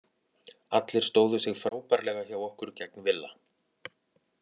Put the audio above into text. Allir stóðu sig frábærlega hjá okkur gegn Villa.